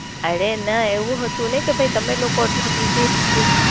અરે, ના એવું હતું ને કે ભાઈ તમે લોકો એટલા Bussy